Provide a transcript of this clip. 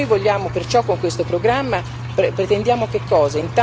Noi vogliamo perciò con questo programma, pretendiamo che cosa?